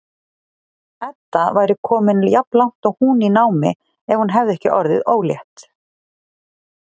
Edda væri komin jafnlangt og hún í námi ef hún hefði ekki orðið ólétt.